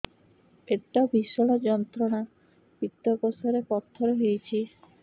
ପେଟ ଭୀଷଣ ଯନ୍ତ୍ରଣା ପିତକୋଷ ରେ ପଥର ହେଇଚି